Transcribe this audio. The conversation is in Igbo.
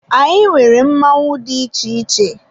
Anyị nwere mmọnwụ dị iche iche.